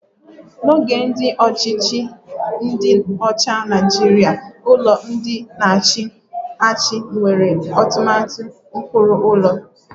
Na oge ndị ọchịchị ndi ocha na Naịjirịa, ụlọ ndị na-achị achị nwere atụmatụ ụkpụrụ ụlọ